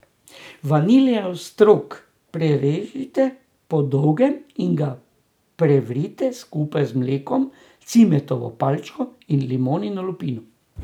Vaniljev strok prerežite po dolgem in ga prevrite skupaj z mlekom, cimetovo palčko in limonino lupino.